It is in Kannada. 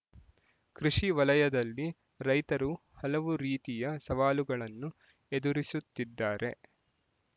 ಕೃಷಿ ವಲಯದಲ್ಲಿ ರೈತರು ಹಲವು ರೀತಿಯ ಸವಾಲುಗಳನ್ನು ಎದುರಿಸುತ್ತಿದ್ದಾರೆ